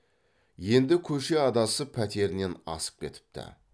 енді көше адасып пәтерінен асып кетіпті